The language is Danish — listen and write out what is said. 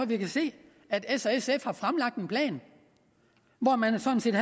vi kan se at s og sf har fremlagt en plan hvor man sådan set